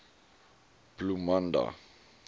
bloemanda